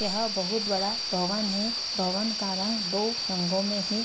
यह बहुत बड़ा भवन है। भवन का रंग दो रंगों में है।